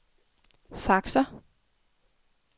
faxer